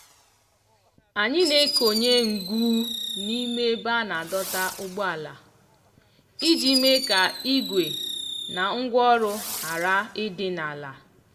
anyị na-ekonye ngụ n'ime ebe a na-adọta ụgbọala iji mee ka igwe na ngwaọrụ ghara ịdị n'ala.